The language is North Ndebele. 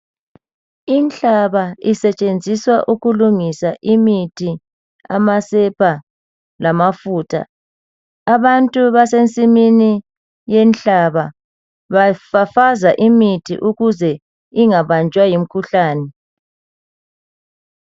Inhlaba isetshenziswa ukulungisa imithi amasepa lamafutha abantu basensimini yenhlaba bafafaza imithi ukuze ingabanjwa yimikhuhlane.